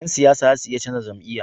Yan siyasa zasu iya canza jam'iya